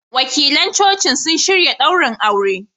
Wakilan Cocin sun shirya ɗaurin auren.